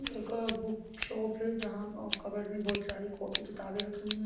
एक book shop है जहाँ अ कबर्ड में बहुत सारी कॉपी किताबें रखी हुई हैं।